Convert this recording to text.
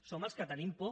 som els que tenim por